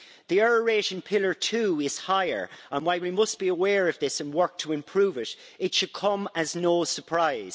The error rate in Pillar 2 is higher, and while we must be aware of this and work to improve it, it should come as no surprise.